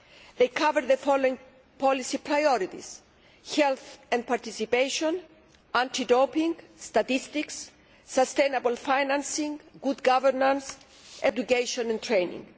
These cover the following policy priorities health and participation, anti doping, statistics, sustainable financing, good governance, education and training.